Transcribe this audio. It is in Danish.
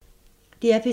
DR P3